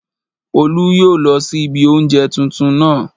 Olú yóò lọ sí ilé oúnjẹ tuntun naa